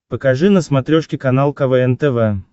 покажи на смотрешке канал квн тв